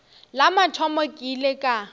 la mathomo ke ile ka